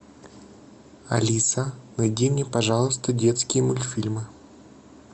алиса найди мне пожалуйста детские мультфильмы